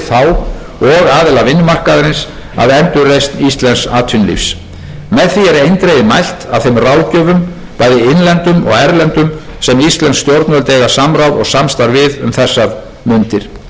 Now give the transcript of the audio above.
stjórnvöld eiga samráð og samstarf við um þessar mundir herra forseti ég legg til að frumvarpi þessu verði vísað til háttvirtrar